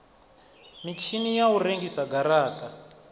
mitshini ya u rengisa garata